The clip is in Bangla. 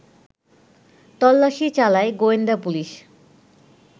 তল্লাশি চালায় গোয়েন্দা পুলিশ